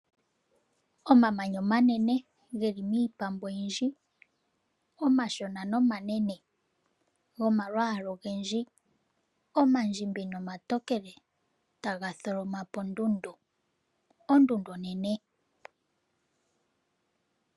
Omamanya omanene geli miipambu oyindji. Omashona nomanene gomalwaala ogendji omandjimbi nomatokele, taga tholomapo ondundu. Ondundu onene.